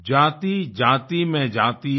जातिजाति में जाति है